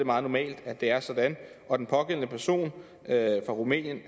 meget normalt at det er sådan og den pågældende person fra rumænien